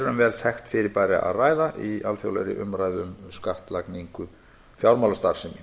um vel þekkt fyrirbæri að ræða í alþjóðlegri umræðu um skattlagningu fjármálastarfsemi